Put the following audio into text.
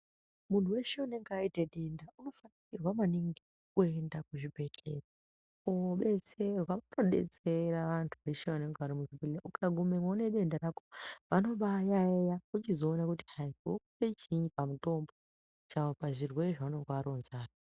Muntu weshe unenge aite denda unofanirwa maningi kuenda kuzvibhedhlera kudetserrwa , kudetserwa vantu veshe vanenge varimurwere ukangoendamo nedenda rako vanomba yaiya vochizoona kuti vokuoe chiini pamutombo , pazvirwere zvaunenge waronza.